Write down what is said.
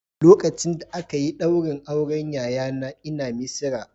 Lokacin da aka yi ɗaurin auren yayana ina Misira